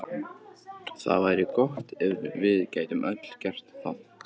Það væri gott ef við gætum öll gert það.